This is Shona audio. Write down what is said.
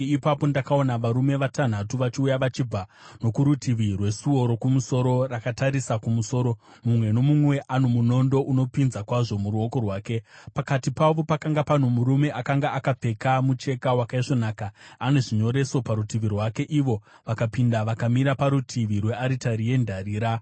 Ipapo ndakaona varume vatanhatu vachiuya vachibva nokurutivi rwesuo rokumusoro, rakatarisa kumusoro, mumwe nomumwe ano munondo unopinza kwazvo muruoko rwake. Pakati pavo pakanga pano murume akanga akapfeka mucheka wakaisvonaka ane zvinyoreso parutivi rwake. Ivo vakapinda vakamira parutivi rwearitari yendarira.